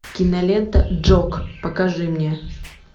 кинолента джок покажи мне